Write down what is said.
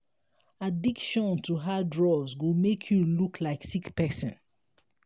addiction to hard drugs go make you look like sick person